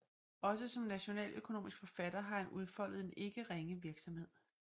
Også som nationaløkonomisk forfatter har han udfoldet en ikke ringe virksomhed